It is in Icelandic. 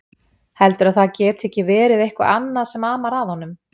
Heldurðu að það geti ekki verið eitthvað annað sem amar að honum?